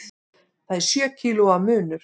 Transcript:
Það er sjö kílóa munur.